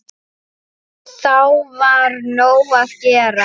Þá var nóg að gera.